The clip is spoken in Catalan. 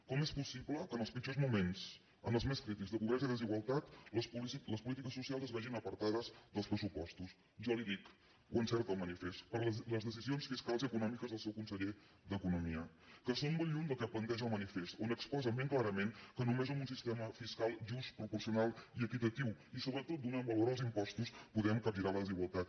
com és possible que en els pitjors moments en els més crítics de pobresa i desigualtat les polítiques socials es vegin apartades dels pressupostos jo li ho dic ho encerta el manifest per les decisions fiscals i econòmiques del seu conseller d’economia que són molt lluny del que planteja el manifest on exposen ben clarament que només amb un sistema fiscal just proporcional i equitatiu i sobretot donant valor als impostos podem capgirar la desigualtat